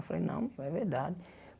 Eu falei, não, pô é verdade.